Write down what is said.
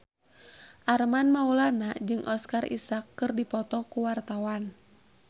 Armand Maulana jeung Oscar Isaac keur dipoto ku wartawan